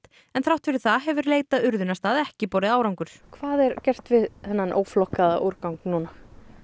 en þrátt fyrir það hefur leit að urðunarstað ekki borið árangur hvað er gert við þennan óflokkaða úrgang núna